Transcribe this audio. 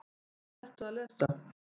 Hvað ertu að lesa?